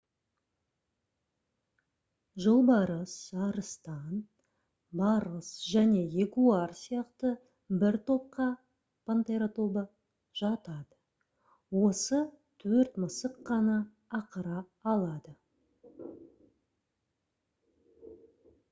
жолбарыс арыстан барыс және ягуар сияқты бір топқа пантера тобы жатады. осы төрт мысық қана ақыра алады